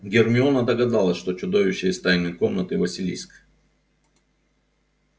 гермиона догадалась что чудовище из тайной комнаты василиск